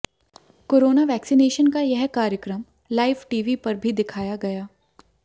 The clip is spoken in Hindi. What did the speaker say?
कोरोना वैक्सीनेशन का यह कार्यक्रम लाइव टीवी पर भी दिखाया गया